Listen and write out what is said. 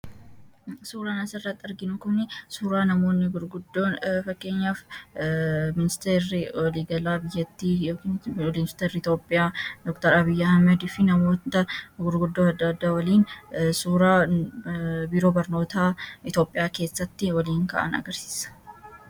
suuraan asirratti arginu kun suuraa namoonni gurguddoon fakkeenyaaf ministeeri waliigalaa biyattii iitoopiyaa dr abiyyi ahamedfi namoota gurguddoo addda waliin suuraa biroo barnootaa itoophiyaa keessatti waliin ka’an agarsiisa